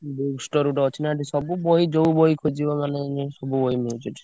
book store ଗୋଟେ ଅଛି ନା ଏଠି ସବୁ ବହି ଯୋଉ ବହି ଖୋଜିବ ମାନେ ସବୁ ବହି ମିଳୁଚି ଏଠି।